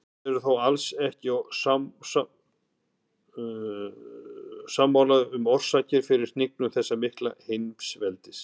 Menn eru þó alls ekki sammála um orsakirnar fyrir hnignun þessa mikla heimsveldis.